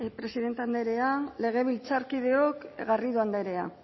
presidente andrea legebiltzarkideok garrido andrea